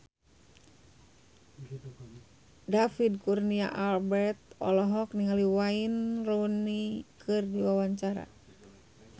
David Kurnia Albert olohok ningali Wayne Rooney keur diwawancara